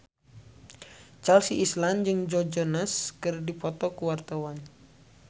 Chelsea Islan jeung Joe Jonas keur dipoto ku wartawan